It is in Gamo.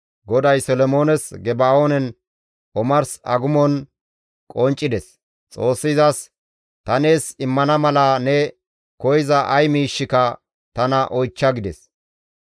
GODAY Solomoones Geba7oonen omars agumon qonccides; Xoossi izas, «Ta nees immana mala ne koyza ay miishshika tana oychcha» gides.